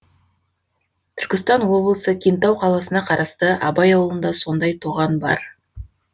түркістан облысы кентау қаласына қарасты абай ауылында сондай тоған бар